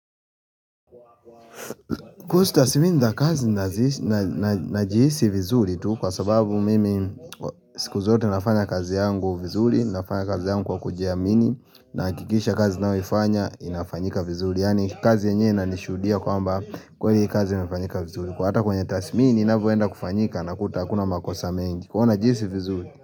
Kusuhu tasmini za kazi najiisi vizuri tu, kwa sababu mimi skuzote nafanya kazi yangu vizuri, nafanya kazi yagu kujiamini, nahakikisha kazi ninayoifanya inafanyika vizuri. Yani kazi yenyewe inanishudia kwamba kweli kazi inafanyika vizuri. Hata kwenye thatsimini inavyoenda kufanyika nakuta hakuna makosa mengi. Kwa hyo najihisi vizuri.